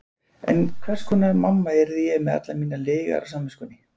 En hvers konar mamma yrði ég með allar mínar lygar á samviskunni?